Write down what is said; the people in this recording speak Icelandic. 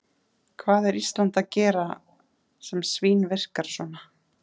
Hvað er Ísland að gera sem svínvirkar svona?